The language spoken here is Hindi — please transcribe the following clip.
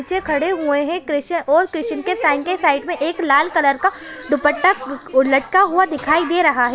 बच्चे खड़े हुए है और क्रिश्चन के स्टैन्ड के साइड में एक लाल कलर का दुपट्टा लटका हुआ दिखाई दे रहा है।